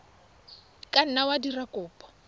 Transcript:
ka nna wa dira kopo